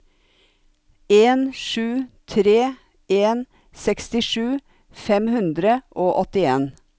en sju tre en sekstisju fem hundre og åttien